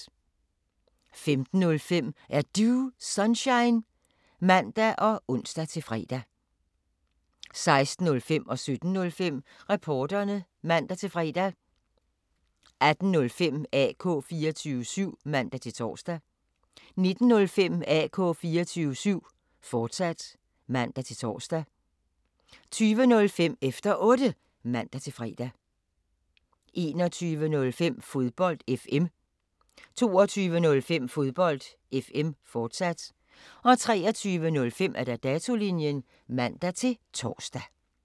15:05: Er Du Sunshine? (man og ons-fre) 16:05: Reporterne (man-fre) 17:05: Reporterne (man-fre) 18:05: AK 24syv (man-tor) 19:05: AK 24syv, fortsat (man-tor) 20:05: Efter Otte (man-fre) 21:05: Fodbold FM 22:05: Fodbold FM, fortsat 23:05: Datolinjen (man-tor)